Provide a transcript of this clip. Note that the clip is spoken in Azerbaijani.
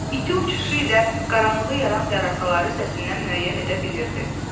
İti uçuşu ilə qaranlığı yaran zərəsaları səsindən müəyyən edə bilirdi.